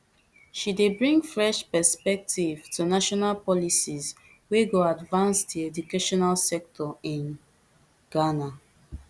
she dey bring fresh perspective to national policies wey go advance di educational sector in ghana